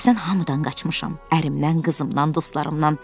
Bilirsən, hamıdan qaçmışam: ərimdən, qızımdan, dostlarımdan.